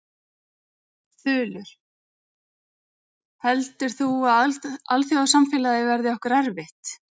Þulur: Heldur þú að alþjóðasamfélagið verði okkur erfitt?